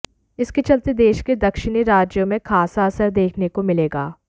इसके चलते देश के दक्षिणी राज्यों में खासा असर देखने को मिलेगा